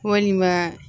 Walima